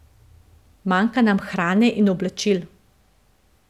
Manjka nam hrane in oblačil.